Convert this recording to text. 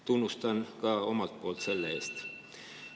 Tunnustan ka omalt poolt teid selle eest.